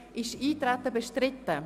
Ist Eintreten bestritten?